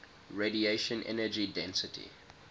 radiation energy density